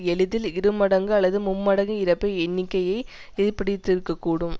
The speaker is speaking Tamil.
எளிதில் இரு மடங்கு அல்லது மும்மடங்கு இறப்பை எண்ணிக்கையை ஏற்படுத்தியிருக்கக்கூடும்